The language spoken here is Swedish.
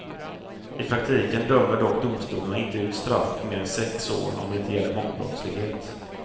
I praktiken dömer dock domstolarna inte ut straff på mer än sex år om det inte gäller mångbrottslighet.